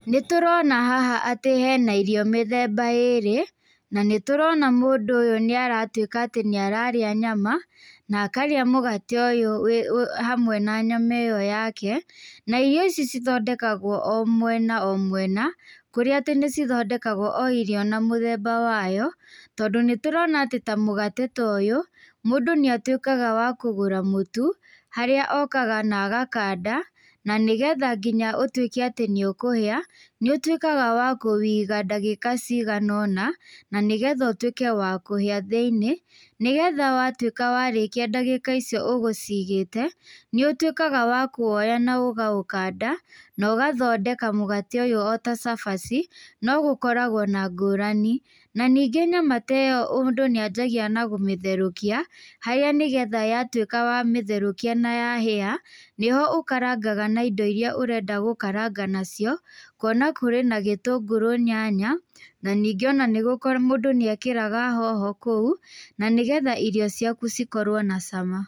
Nĩ tũrona haha atĩ hena irio mĩthemba ĩĩrĩ. Na nĩ tũrona mũndũ ũyũ nĩ aratuĩka atĩ nĩ ararĩa nyama, na akarĩa mũgate ũyũ hamwe na nyama ĩyo yake. Na irio ici cithondekagwo o mwena o mwena. Kũrĩa atĩ nĩ cithondekagwo o irio na mũthemba wayo. Tondũ nĩ turona atĩ ta mũgate ta ũyũ, mundũ nĩ atuikaga wa kũgũra mũtu harĩa okaga na agakanda, na nĩgetha nginya ũtuĩke atĩ nĩũkũhĩa nĩ ũtuĩkaga wa kũwĩiga ndagĩka cigana ũna. Na ni getha ũtuĩke wa kũhĩa thĩinĩ. Nĩgetha watuĩka warĩkia ndagĩka icio ũgũcigĩte, nĩ ũtuĩkaga wa kuoya na ũkaũkanda, na ũgathondeka mũgate ũyũ o ta cabaci. No gũkoragwo na ngũrani. Na ningĩ nyama ta ĩyo mũndũ nĩ anjagia na kũmĩtherũkia, harĩa ni getha yatũĩka wamĩtherũkia na ya hĩa, nĩ ho ũkarangaga na indo iria urenda gũkaranga na cio, kuona kũrĩ na gĩtũngũrũ, nyanya, na ningĩ o na mũndũ nĩ ekĩraga hoho kũu na nĩ getha irio ciaku cikorwo na cama.